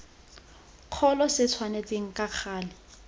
kgolo se tshwanetse ka gale